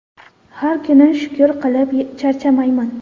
Har kuni shukur qilib charchamayman.